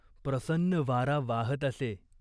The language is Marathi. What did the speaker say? प्रसन्न वारा वाहत असे.